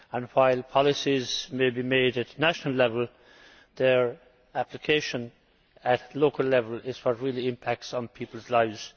While policies may be made at national level, their application at local level is what really impacts on peoples' lives.